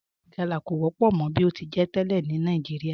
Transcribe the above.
Ríte galá kọ wọ́pọ̀ mọ̀ bí o ti jẹ́ tẹ́lẹ̀ ni Nàìjíríà